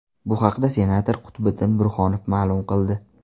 Bu haqda senator Qutbiddin Burhonov ma’lum qildi.